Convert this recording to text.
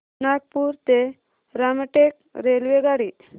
नागपूर ते रामटेक रेल्वेगाडी